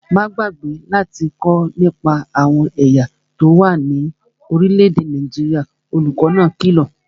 Má gbàgbé láti kọ́ nípa àwọn ẹ̀yà tó wà ní orílẹ̀-èdè Nàìjíríà, olùkó náà kìlọ̀